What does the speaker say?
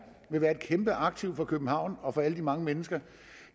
vil være et kæmpe aktiv for københavn og for alle de mange mennesker